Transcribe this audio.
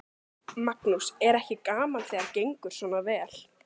Magnús: Er ekki gaman þegar gengur svona vel?